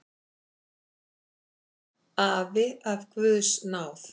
Afi af guðs náð.